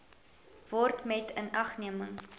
word met inagneming